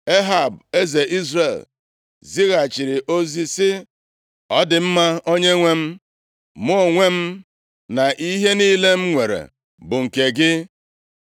Ehab eze Izrel, zighachiri ozi sị, “Ọ dị mma, onyenwe m, mụ onwe m, na ihe niile m nwere bụ nke gị.”